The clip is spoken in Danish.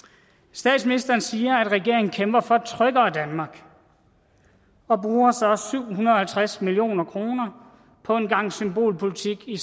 statsministeren siger at regeringen kæmper for et tryggere danmark og bruger så syv hundrede og halvtreds million kroner på en gang symbolpolitik i